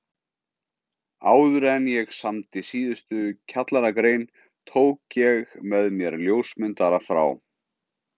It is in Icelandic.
Áðuren ég samdi síðustu kjallaragrein tók ég með mér ljósmyndara frá